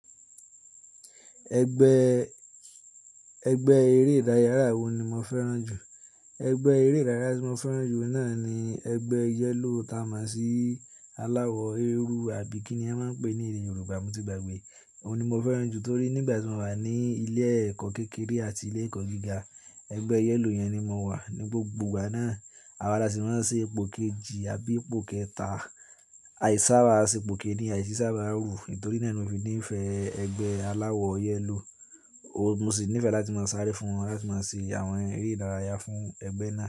Ẹgbẹ́, ẹgbẹ́ eré ìdárayá wo ni mo fẹ́ràn jù? Ẹgbẹ́ eré ìdárayá tí mo fẹ́ràn jù náà ni ẹgbẹ́ yellow ta mosi aláwọ̀ eérú àbí kíni a máa ń pè ní èdè Yorùbá mo ti gbàgbé. Òun ni mo fẹ́ràn jù torí nígbà tí mo wà ní ilé ẹ̀kọ́ kékeré àti ilé ẹ̀kọ́ gíga, ẹgbẹ́ yellow yẹn ni mo wà. Ni gbogbo ìgbà náà, àwa lasi ma n ṣe ipò kejì àbí ipò kẹta. Àìsába ṣe ipò kíni, àìsísába rú torí náà ni mo fi nífẹ̀ẹ́ ẹgbẹ́ aláwọ̀ yellow. Oun mo sì nífẹ̀ẹ́ láti máa sáré fún wọn, láti máa ṣe àwọn eré ìdárayá fún ẹgbẹ́ náà.